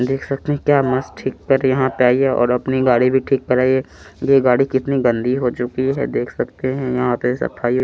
देख सकते क्या मस्त ठीक कर यहाँ पे आई है और अपनी गाडी भी ठीक कराई है ये गाड़ी कितनी गन्दी हो चुकी है देख सकते है यहाँ पे सफाई--